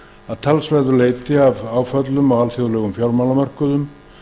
að talsverðu leyti af áföllum á alþjóðlegum fjármálamörkuðum